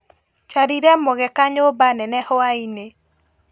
Njarire mũgeka nyũmba nene hwainĩ.